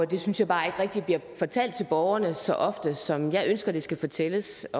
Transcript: det synes jeg bare ikke rigtig bliver fortalt til borgerne så ofte som jeg ønsker det skal fortælles